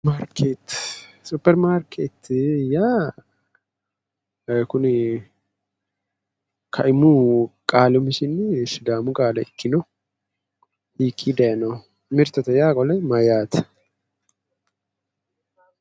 Superimaarkeeti, superimaarkeeti yaa ee kuni kaimu qaali umisinni sidaamu qaale ikkino? hiikkii daayinoho? mirtete yaa qole mayyaate?